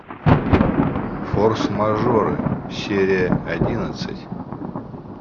форс мажоры серия одиннадцать